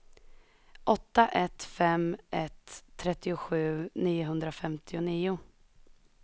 åtta ett fem ett trettiosju niohundrafemtionio